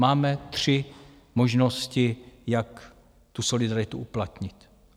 Máme tři možnosti, jak tu solidaritu uplatnit.